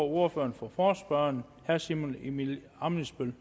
ordføreren for forespørgerne herre simon emil ammitzbøll